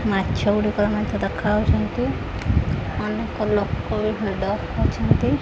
ମାଛ ଗୁଡ଼ିକ ମଧ୍ୟ ଦେଖାଯାଉଛନ୍ତି ଅନେକ ଲୋକ ବି ଭିଡ଼ ଅଛନ୍ତି।